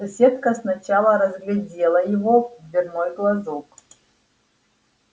соседка сначала разглядела его в дверной глазок